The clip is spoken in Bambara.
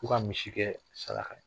K'o ka misi kɛ sara ka ye